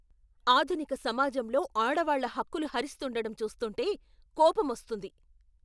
ఆధునిక సమాజంలో ఆడవాళ్ళ హక్కులు హరిస్తుండడం చూస్తుంటే కోపమొస్తుంది.